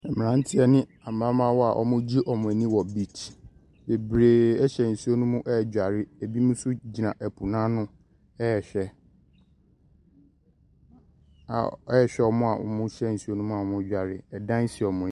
Mmeranteɛ ne ɛmamaawa a ɔmoo gye ɔmo ani wɔ bikye. Bebree ɛhyɛ nsuo no mu ɛɛdware, ebimo so gyina ɛpo n'ano ɛɛhwɛ ɔmo a ɔmo hyɛ nsuo no mu a ɔmo ɛɛdware. Ɛdan si ɔmo anim.